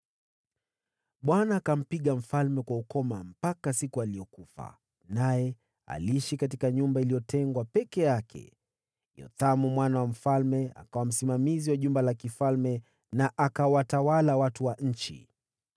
Bwana akampiga mfalme kwa ukoma mpaka siku aliyokufa, naye aliishi katika nyumba iliyotengwa peke yake. Yothamu mwana wa mfalme akawa msimamizi wa jumba la mfalme, na akawatawala watu wa nchi.